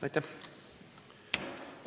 Aitäh!